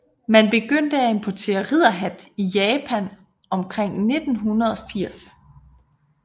Man begyndte at importere ridderhat i Japan omkring 1980